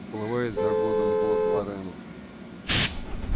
уплывает за годом год лорена